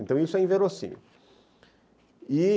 Então, isso é inverossímil, e